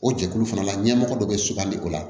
O jɛkulu fana la ɲɛmɔgɔ dɔ bɛ sugandi o la